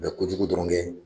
Bɛ ko kojugu dɔrɔn kɛ.